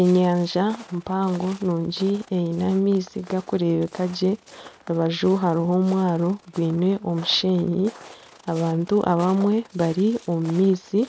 Enyanja mpango nungi eine amaizi gakurebekagye aha rubaju hariho omwaro gwine omushenyi abantu abamwe bari omu maizi